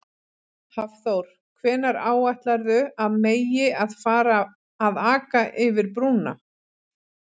Hafþór: Hvenær áætlarðu að megi að fara að aka yfir brúna?